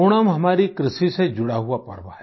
ओणम हमारी कृषि से जुड़ा हुआ पर्व है